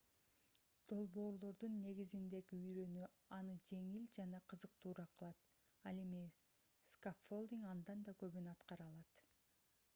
долбоорлордун негизиндеги үйрөнүү аны жеңил жана кызыктуураак кылат ал эми скаффолдинг андан да көбүн аткара алат